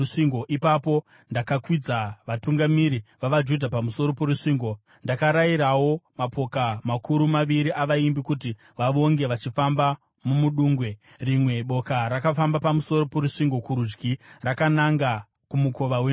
Ipapo ndakakwidza vatungamiri vavaJudha pamusoro porusvingo. Ndakarayirawo mapoka makuru maviri avaimbi kuti vavonge vachifamba mumudungwe. Rimwe boka rakafamba pamusoro porusvingo kurudyi, rakananga kuMukova weNdove.